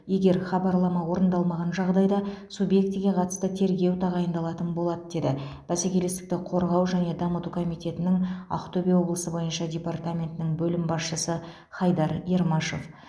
егер хабарлама орындалмаған жағдайда субъектіге қатысты тергеу тағайындалатын болады деді бәсекелестікті қорғау және дамыту комитетінің ақтөбе облысы бойынша департаментінің бөлім басшысы хайдар ермашев